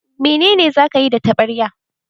Menene za ka yi da taɓarya?